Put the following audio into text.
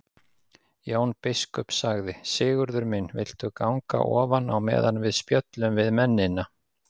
Jón biskup sagði:-Sigurður minn viltu ganga ofan á meðan við spjöllum við mennina.